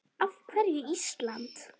Af hverju Ísland?